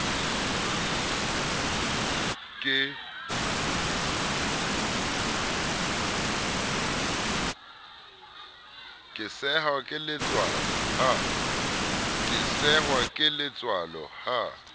ke sehwa ke letswalo ha